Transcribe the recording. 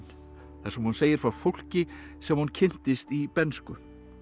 þar sem hún segir frá fólki sem hún kynntist í bernsku